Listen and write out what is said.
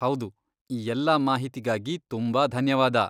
ಹೌದು, ಈ ಎಲ್ಲಾ ಮಾಹಿತಿಗಾಗಿ ತುಂಬಾ ಧನ್ಯವಾದ.